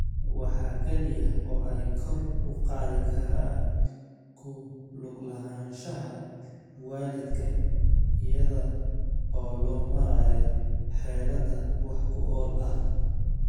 Waxa kaliya oo ay kor u qaadi karaan ku lug lahaanshaha waalidka iyada oo loo marayo xeelado wax ku ool ah.